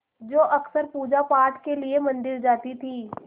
जो अक्सर पूजापाठ के लिए मंदिर जाती थीं